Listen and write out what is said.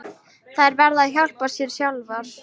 Þær verða að hjálpa sér sjálfar.